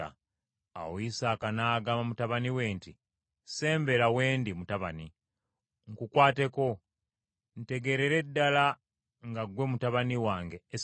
Awo Isaaka n’agamba mutabani we nti, “Sembera wendi mutabani, nkukwateko, ntegeerere ddala nga ggwe mutabani wange Esawu.”